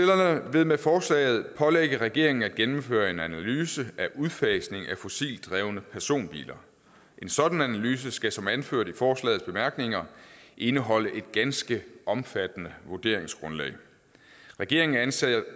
vil med forslaget pålægge regeringen at gennemføre en analyse af udfasning af fossilt drevne personbiler en sådan analyse skal som anført i forslagets bemærkninger indeholde et ganske omfattende vurderingsgrundlag regeringen anser